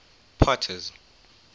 potter's